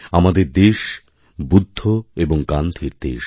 আমাদের দেশ বুদ্ধ এবংগান্ধীর দেশ